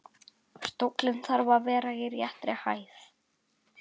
Stóllinn þarf að vera í réttri hæð.